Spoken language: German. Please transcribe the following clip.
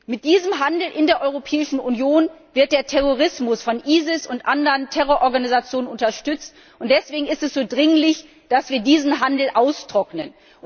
Mit diesem Handel in der Europäischen Union wird der Terrorismus des IS und von anderen Terrororganisationen unterstützt, und deswegen ist es so dringlich, dass wir diesen Handel austrocknen.